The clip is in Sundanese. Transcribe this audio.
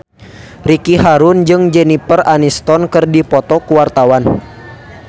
Ricky Harun jeung Jennifer Aniston keur dipoto ku wartawan